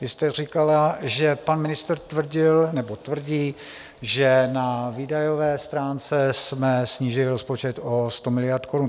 Vy jste říkala, že pan ministr tvrdil nebo tvrdí, že na výdajové stránce jsme snížili rozpočet o 100 miliard korun.